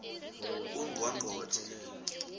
ungqongqotjhe